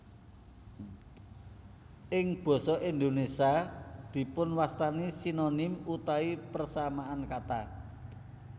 Ing basa Indonesia dipun wastani Sinonim utawi persamaan kata